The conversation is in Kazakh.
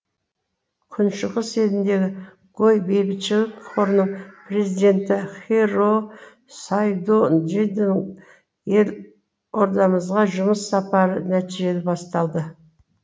күншығыс еліндегі гои бейбітшілік қорының президенті хироо сайдонджидің елордамызға жұмыс сапары нәтижелі басталды